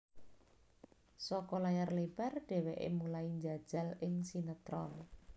Saka layar lebar dheweke mulai njajal ing sinetron